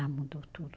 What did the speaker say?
Ah, mudou tudo.